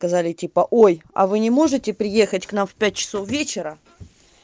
сказали типа ой а вы не можете приехать к нам в пять часов вечера